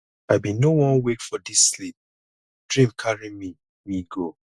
i bin no wan wake for dis sleep dream carry me me go